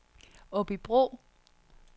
Aabybro